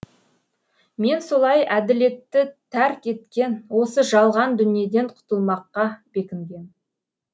мен солай әділетті тәрк еткен осы жалған дүниеден құтылмаққа бекінгем